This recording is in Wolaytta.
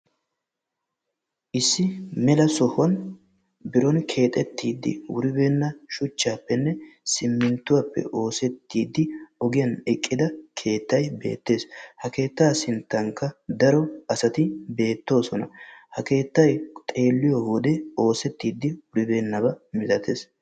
Issi mela sohuwan biron keexettiddi wuribeenna shuchchaappenne simminttuwappe oosettiiddi ogiyan eqqida keettay beettees. Ha keettaa sinttankka daro asati beettoosona. Ha keettay xeelliyo wode oosettiddi wuribeennabaa milatees.